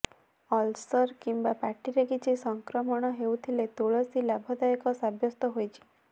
ulcer କିମ୍ବା ପାଟିରେ କିଛି ସଂକ୍ରମଣ ହେଉଥିଲେ ତୁଳସୀ ଲାଭଦାୟକ ସାବ୍ୟସ୍ତ ହୋଇଛି